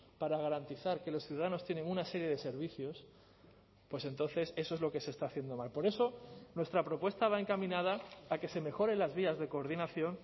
para garantizar que los ciudadanos tienen una serie de servicios pues entonces eso es lo que se está haciendo mal por eso nuestra propuesta va encaminada a que se mejoren las vías de coordinación